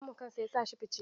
Kamun kansa yasa shi fice.